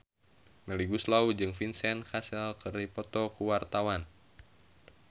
Melly Goeslaw jeung Vincent Cassel keur dipoto ku wartawan